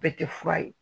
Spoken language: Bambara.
Bɛɛ tɛ fura ye